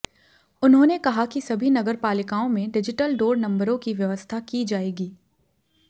उन्होंने कहा कि सभी नगरपालिकाओं में डिजिटल डोर नंबरों की व्यवस्था की जाएगी